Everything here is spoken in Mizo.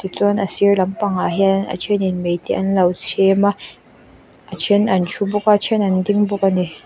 tichuan asir lampang ah hian a thenin mei te anlo chhem a a then a thu bawk a a then an ding bawk ani --